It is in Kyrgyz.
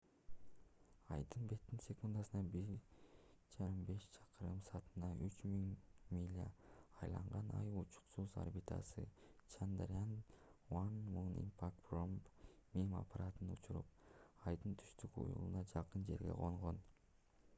айдын бетин секундасына 1,5 чакырым саатына 3000 миля айланган ай учкучсуз орбитасы чандарян 1 moon impact probe mip аппаратын учуруп айдын түштүк уюлуна жакын жерге конгон